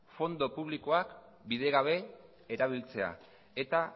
fondo publikoak bidegabe erabiltzea eta